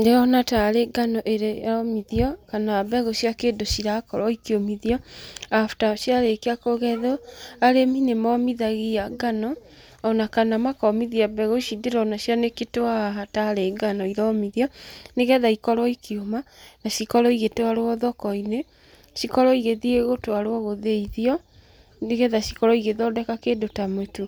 Ndĩrona tarĩ ngano ĩromĩthio, kana mbegũ cia kĩndũ cirakorwo ikĩũmĩthio, after ciarĩkia kũgethwo. Arĩmi nĩ momithagia ngano, ona kana makomithia mbegũ ici ironekana cianĩkĩtwo haha tarĩ ngano iromithio, nĩgetha ikorwo ikĩũma, na cikorwo ĩgĩtwarwo thoko-inĩ. Cĩkorwo igĩthiĩ gũtwarwo gĩthĩithio, nĩgetha cikorwo igĩthondeka kĩndũ ta mũtu.